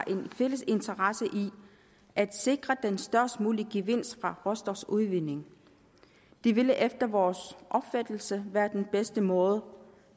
en fælles interesse i at sikre den størst mulige gevinst fra råstofudvinding det ville efter vores opfattelse være den bedste måde